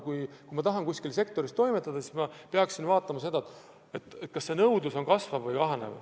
Kui ma tahan kuskil sektoris toimetada, siis ma pean arvestama seda, kas nõudlus selles on kasvav või kahanev.